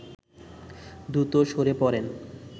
দ্রুত সরে পড়েন